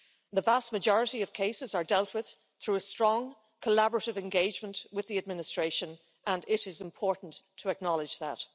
The vast majority of cases are dealt with through a strong collaborative engagement with the administration and it is important to acknowledge that.